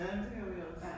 Ja, det gjorde vi også